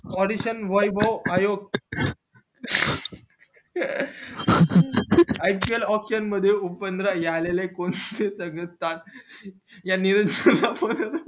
वैभव आयोग iploption मध्ये open राहिले आलेले कोण हे सगळं सांग या निवेदकाला